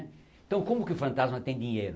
Então como que o fantasma tem dinheiro?